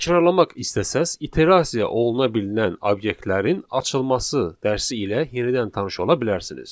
Təkrarmaq istəsəz, iterasiya oluna bilinən obyektlərin açılması dərsi ilə yenidən tanış ola bilərsiniz.